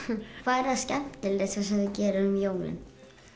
það skemmtilegasta sem þú gerir um jólin